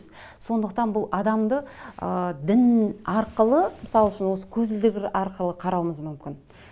сондықтан бұл адамды ыыы дін арқылы мысал үшін осы көзілдірік арқылы қарауымыз мүмкін